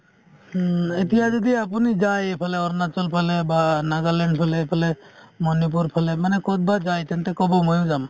হুম, এতিয়া যদি আপুনি যায় এইফালে অৰুণাচল ফালে বা নাগালেণ্ড ফালে এইফালে মণিপুৰ ফালে মানে ক'ৰবাত যায় তেন্তে ক'ব ময়ো যাম